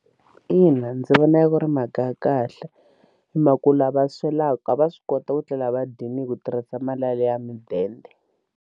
Ina ndzi vona ku ri mhaka ya kahle hi mhaku la va swelaku va swi kota ku tlela va dyile hi ku tirhisa mali yaliya mudende.